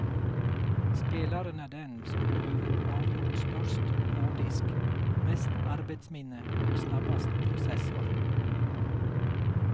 Spelaren är den som behöver avgjort störst hårddisk, mest arbetsminne och snabbast processor.